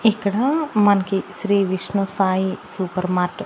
ఇక్కడా మనకి Shri Vishnu Sai super mart .